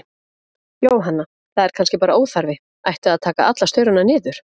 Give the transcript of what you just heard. Jóhanna: Það er kannski bara óþarfi, ætti að taka alla staurana niður?